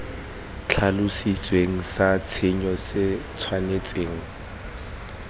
tlhalositsweng sa tshenyo se tshwanetseng